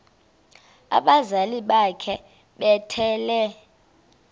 abazali bakhe bethwele